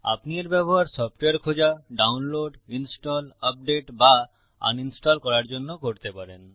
আপনি এর ব্যবহার সফটওয়্যার খোঁজা ডাউনলোড ইনস্টল আপডেট বা আনইনস্টল করার জন্য করতে পারেন